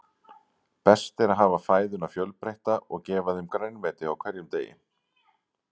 Best er að hafa fæðuna fjölbreytta og gefa þeim grænmeti á hverjum degi.